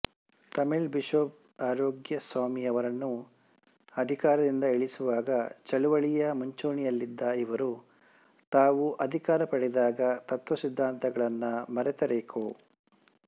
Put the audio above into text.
Tamil bishop ಆರೋಕ್ಯಸಾಮಿಯವರನ್ನು ಅಧಿಕಾರದಿಂದ ಇಳಿಸುವಾಗ ಚಳುವಳಿಯ ಮುಂಚೂಣಿಯಲ್ಲಿದ್ದ ಇವರು ತಾವು ಅಧಿಕಾರ ಪಡೆದಾಗ ತತ್ವಸಿದ್ಧಾಂತಗಳನ್ನು ಮರೆತರೇಕೋ